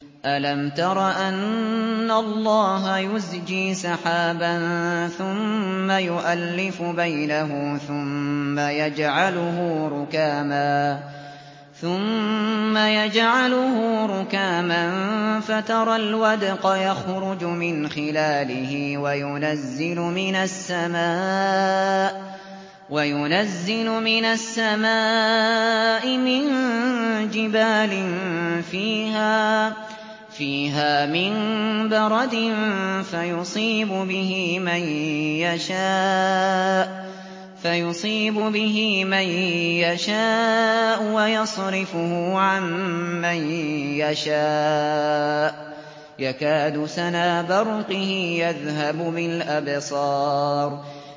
أَلَمْ تَرَ أَنَّ اللَّهَ يُزْجِي سَحَابًا ثُمَّ يُؤَلِّفُ بَيْنَهُ ثُمَّ يَجْعَلُهُ رُكَامًا فَتَرَى الْوَدْقَ يَخْرُجُ مِنْ خِلَالِهِ وَيُنَزِّلُ مِنَ السَّمَاءِ مِن جِبَالٍ فِيهَا مِن بَرَدٍ فَيُصِيبُ بِهِ مَن يَشَاءُ وَيَصْرِفُهُ عَن مَّن يَشَاءُ ۖ يَكَادُ سَنَا بَرْقِهِ يَذْهَبُ بِالْأَبْصَارِ